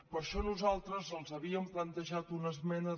per això nosaltres els havíem plantejat una esmena